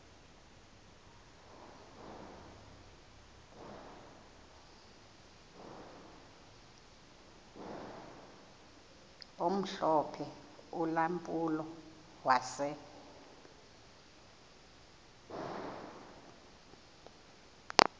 omhlophe ulampulo wase